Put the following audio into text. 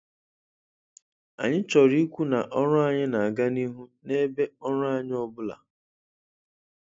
Anyị chọrọ ikwu na ọrụ anyị na -aga n' ihu n'ebe ọrụ anyị ọbụla